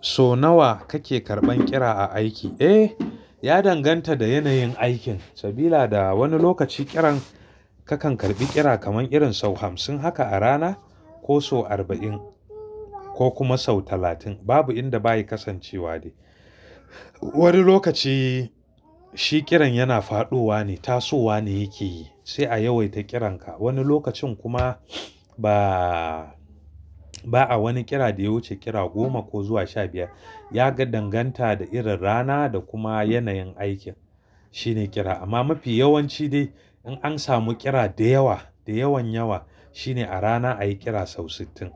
So nawa kake karɓan kira a, aiki? Eh, ya danganta da yanayin aikin. Sabila da wani lokaci kiran kakan karɓi kira kaman irin sau hamsin haka a rana ko so arba'in ko kuma sau talatin babu yanda baya kasancewa dai. Wani lokaci shi kiran yana faɗowa ne, tasowa ne yake yi sai a yawaita kiranka. Wani lokacin kuma ba, ba'a wani kira da ya wuce kira goma ko zuwa sha biyar. Ya ga danganta da irin rana da kuma yanayin aikin shine kira. Amma mafi yawanci dai in an samu kira da yawa, da yawan yawa shine a rana ayi kira sau sittin.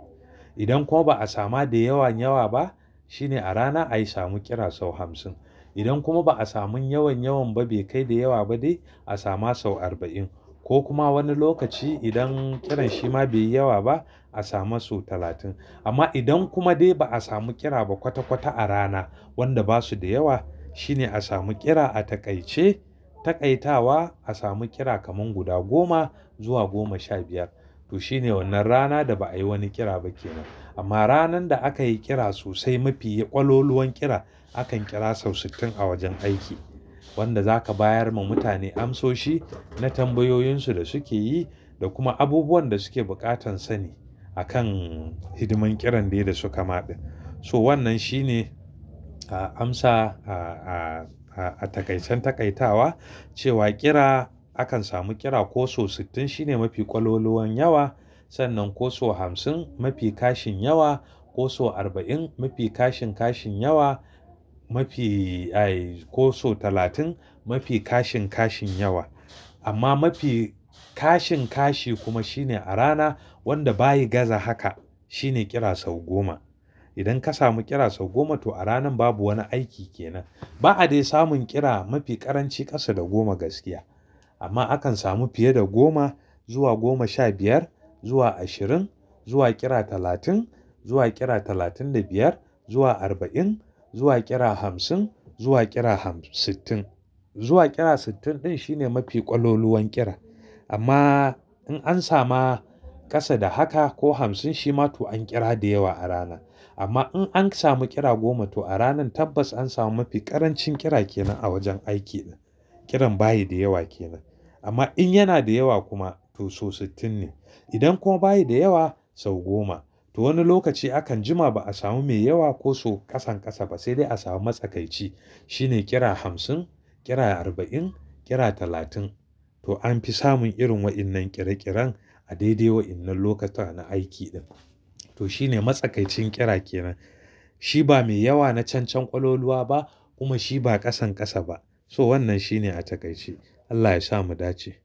Idan kuma ba a sama da yawan yawa ba shine a rana ayi samu kira sau hamsin. Idan kuma ba a samun yawan yawan ba bai kai da yawa ba dai a sama sau arba'in ko kuma wani lokaci idan kiran shi ma bai yi yawa ba a sama sau talatin. Amma idan kuma dai ba a samu kira ba kwata kwata a rana wanda ba su da yawa shine a samu kira a taƙaice. Taƙaitawa a samu kira kaman guda goma zuwa goma sha biyar. To shine wannan rana da ba a yi wani kira ba kenan. Amma ranar da aka yi kira sosai mafi ƙwaloluwan kira akan kira sau sittin a wajen aiki. Wanda zaka bayar ma mutane amsoshi na tambayoyin su da suke yi da kuma abubuwan da suke buƙatan sani akan hidiman kiran dai da suka ma ɗin. So wannan shine a amsa a, a, a, a taƙaicen taƙaitawa cewa kira akan samu kira ko so sittin shine mafi ƙwaloluwan yawa. Sannan ko so hamsin mafi kashin yawa, ko so arba'in mafi kashin kashin yawa, mafi ai, ko so talatin mafi kashin kashin yawa. Amma mafi kashin kashi kuma shine a rana wanda bayi gaza haka shine kira sau goma. Idan ka samu kira sau goma to a ranan babu wani aiki kenan. Ba'a dai samun kira mafi ƙaranci ƙasa da goma gaskiya. Amma akan samu fiye da goma zuwa goma sha biyar zuwa ashirin zuwa kira talatin zuwa kira talatin da biyar zuwa arba'in zuwa kira hamsin zuwa kira ham-- sittin. Zuwa kira sittin ɗin shine mafi ƙwaloluwan kira. Amma in an sama ƙasa da haka ko hamsin shi ma to an kira da yawa a rana. Amma in an samu kira goma to a ranan tabbas an samu mafi ƙarancin kira kenan a wajen aiki. Kiran bayi da yawa kenan. Amma in yana da yawa kuma to so sittin ne. Idan kuma bayi da yawa sau goma. To wani lokaci akan jima ba a samu mai yawa ko so ƙasan ƙasa ba sai dai a samu matsakaici. Shine kira hamsin, kira arba'in, kira talatin. To an fi samun irin waɗannan ƙira ƙiran a daidai wa'inan lokuta na aiki ɗin. To shine matsakaicin kira kenan. Shi ba mai yawa na cancan ƙwaloluwa ba kuma shi ba ƙasan ƙasa ba. So wannan shine a taƙaice. Allah ya sa mu dace.